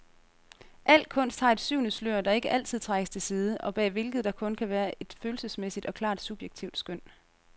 Al kunst har et syvende slør, der ikke altid trækkes til side, og bag hvilket der kun kan være et følelsesmæssigt og klart subjektivt skøn.